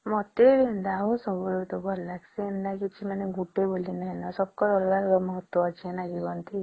ମତେ ସବୁ ଋତୁ ଭଲ ଲାଗିଁସେ ଏମିତି ଗୋଟେ ବୋଲି ନାଇଁ ସବକେ ଅଲଗା ଅଲଗା ମହତ୍ୱ ଅଛି କେ ନାଇଁ